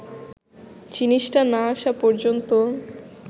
জিনিসটা না আসা পর্যন্ত